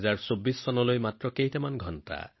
২০২৪ চনলৈ মাত্ৰ কেইঘণ্টামান বাকী